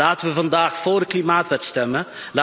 Laten we vandaag voor de klimaatwet stemmen.